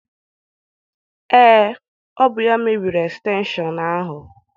Ee, ọ bụ ya mebiri estenshọn ahụ.